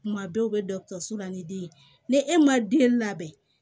Kuma bɛɛ u bɛ dɔkɔtɔrɔso la ni den ye ni e ma den labɛn